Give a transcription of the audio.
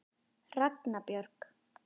Ragna Björg.